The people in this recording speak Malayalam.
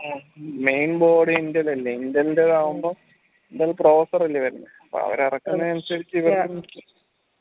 ഉം mainboard ന്റേതല്ലെ intel ന്റെതാവുമ്പം ഇതൊരു processor അല്ലെ വരുന്നേ അപ്പൊ അവര് ഇറക്കുന്നെ അനുസരിച്ച്